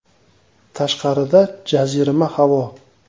Tashqarida jazirama havo.